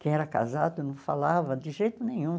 Quem era casado não falava de jeito nenhum.